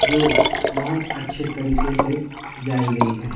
जो बहोत अच्छे तरीके से सजाई गई है।